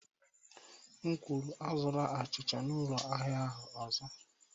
M kwuru, azụla achịcha n'ụlọ ahịa ahụ ọzọ.